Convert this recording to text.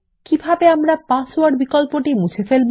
কিভাবে আমরা পাসওয়ার্ড বিকল্পটি মুছে ফেলবো